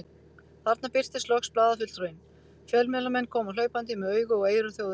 Þarna birtist loks blaðafulltrúinn, fjölmiðlamenn koma hlaupandi með augu og eyru þjóðarinnar.